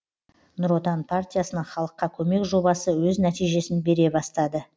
нұр отан партиясының халыққа көмек жобасы өз нәтижесін бере бастады